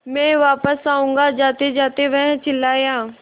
मैं वापस आऊँगा जातेजाते वह चिल्लाया